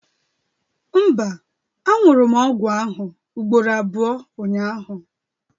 Mba, añụrụ m ọgwụ ahụ ugboro abụọ ụnyahụ